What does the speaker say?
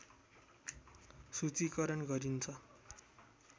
सूचीकरण गरिन्छ